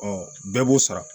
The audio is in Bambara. bɛɛ b'o sara